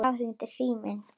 Þá hringir síminn.